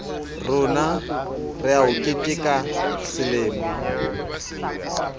rona wa ho keteka lemo